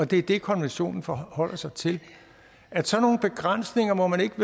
det er det konventionen forholder sig til at sådan nogle begrænsninger må man ikke